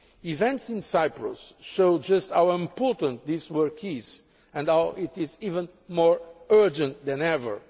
Events in Cyprus show just how important this work is and how it is even more urgent than ever.